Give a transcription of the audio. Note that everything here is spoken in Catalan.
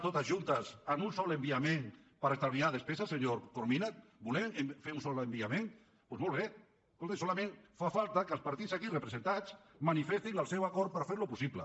totes juntes en un sol enviament per estalviar despeses senyor corominas volem fer un sol enviament doncs molt bé escolti solament fa falta que els partits aquí representats manifestin el seu acord per fer ho possible